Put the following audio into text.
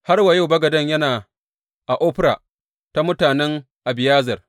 Har wa yau bagaden yana a Ofra ta mutanen Abiyezer.